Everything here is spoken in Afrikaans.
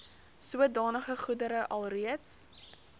sodanige goedere alreeds